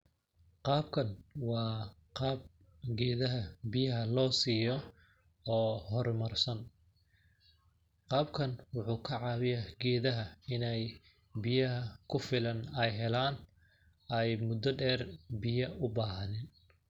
Qaabkan waa qaab geedaha biyaha loo siiyo oo hormar san ,qaabkan waxuu ka cawiyaa geedaha ineey biyaha ku filan ay helaan ay mudda dheer biya u bahaanin.